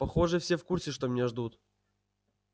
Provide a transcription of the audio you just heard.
похоже все в курсе что меня ждут